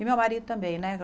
E meu marido também, né?